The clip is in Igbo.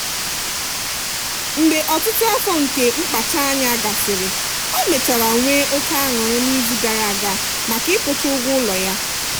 mgbe ọtụtụ afọ nke mkpacha anya gasịrị ọ mechara nwee oke aṅụrị n'izu gara aga maka ịkwụcha ụgwọ ụlọ ya.